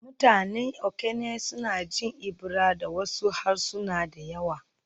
Mutanen Okene suna jin Ebira da wasu harsuna da yawa